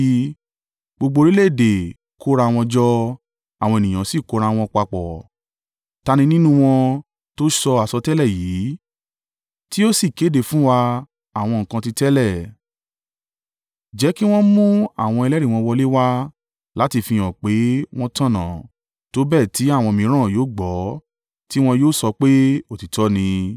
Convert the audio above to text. Gbogbo orílẹ̀-èdè kó ra wọn jọ àwọn ènìyàn sì kó ra wọn papọ̀. Ta ni nínú wọn tó sọ àsọtẹ́lẹ̀ yìí tí ó sì kéde fún wa àwọn nǹkan ti tẹ́lẹ̀? Jẹ́ kí wọ́n mú àwọn ẹlẹ́rìí wọn wọlé wá láti fihàn pé wọ́n tọ̀nà tó bẹ́ẹ̀ tí àwọn mìíràn yóò gbọ́, tí wọn yóò sọ pé, “Òtítọ́ ni.”